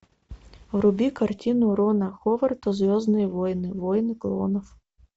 вруби картину рона ховарда звездные войны войны клонов